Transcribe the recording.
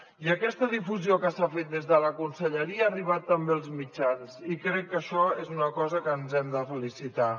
i aquesta difusió que s’ha fet des de la conselleria ha arribat també als mitjans i crec que això és una cosa que ens n’hem de felicitar